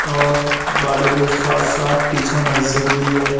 और गाड़ी के साथ साथ पीछे महजीद भी है।